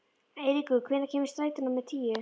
Eiríkur, hvenær kemur strætó númer tíu?